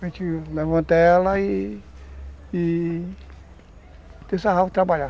Para gente levantá-la e... e... ter essa para trabalhar.